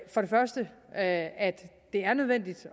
for det første at det er nødvendigt